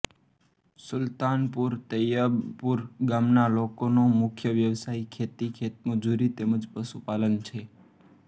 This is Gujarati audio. સુલતાનપુર તૈયબપુર ગામના લોકોનો મુખ્ય વ્યવસાય ખેતી ખેતમજૂરી તેમ જ પશુપાલન છે